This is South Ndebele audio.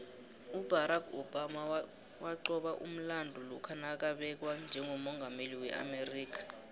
ubarack obama waqoba umlando lokha nakabekwa njegommungameli weamerika